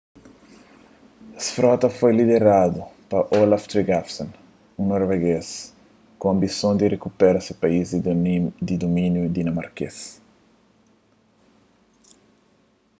es frota foi lideradu pa olaf trygvasson un noruegês ku anbisons di rikupera se país di dumíniu dinamarkês